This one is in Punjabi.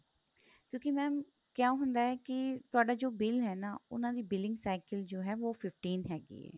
ਕਿਉਂਕਿ mam ਕਿਆ ਹੁੰਦਾ ਕੀ ਤੁਹਾਡਾ ਜੋ bill ਹੈ ਨਾ ਉਹਨਾ ਦੀ billing cycle ਜੋ ਹੈ ਵੋਹ fifteen ਹੈਗੀ ਏ